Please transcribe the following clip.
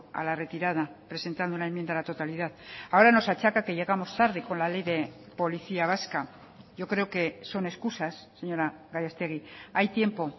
a la retirada presentando una enmienda a la totalidad ahora nos achaca que llegamos tarde con la ley de policía vasca yo creo que son excusas señora gallastegui hay tiempo